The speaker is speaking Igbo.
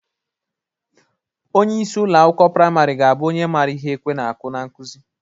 Onyeisi ụlọ akwụkwọ prịmarị ga-abụ onye mara ihe ekwe na-akụ n'nkụzị.